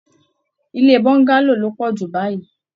Ilé bongalo lo poju báyìí.